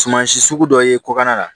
Suman si sugu dɔ ye kɔkan na